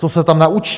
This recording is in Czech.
Co se tam naučí!